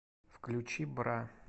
включи бра